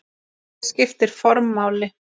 Hér skiptir form máli.